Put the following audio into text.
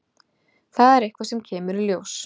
Það er eitthvað sem kemur í ljós.